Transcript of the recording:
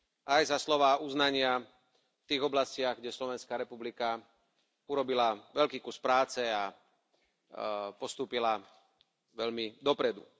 Aj za slová uznania v tých oblastiach, kde Slovenská republika urobila veľký kus práce a postúpila veľmi dopredu.